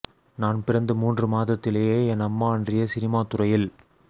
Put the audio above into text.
நான் பிறந்து மூன்று மாதத்திலேயே என் அம்மா அன்றைய சினிமா துறையில்